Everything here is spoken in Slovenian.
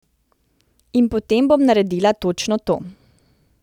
In potem bom naredila točno to.